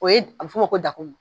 O ye a bɛ f'o ma ko da kumu.